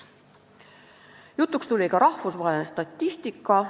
Jutuks tuli ka rahvusvaheline statistika.